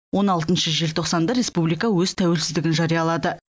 он алтыншы желтоқсанда республика өз тәуелсіздігін жариялады